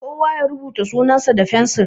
Kowa ya rubuta sunan sa da fensiri!